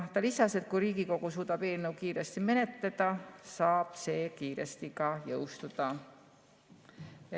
Ta lisas, et kui Riigikogu suudab eelnõu kiiresti menetleda, saab see ka kiiresti jõustuda.